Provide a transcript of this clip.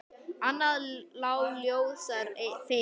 Annað lá ljósar fyrir.